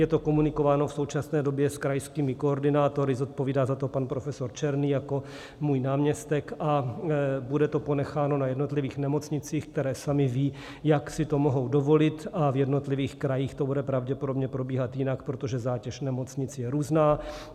Je to komunikováno v současné době s krajskými koordinátory, zodpovídá za to pan profesor Černý jako můj náměstek, a bude to ponecháno na jednotlivých nemocnicích, které samy vědí, jak si to mohou dovolit, a v jednotlivých krajích to bude pravděpodobně probíhat jinak, protože zátěž nemocnic je různá.